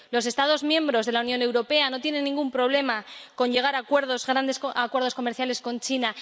Los Estados miembros de la Unión Europea no tienen ningún problema con llegar a grandes acuerdos comerciales con China.